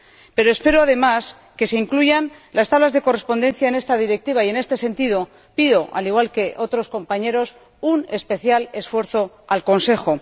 Pero espero, además, que se incluyan las tablas de correspondencia en esta Directiva y, en este sentido, pido, al igual que otros compañeros, un especial esfuerzo al Consejo.